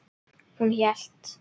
Hún hélt.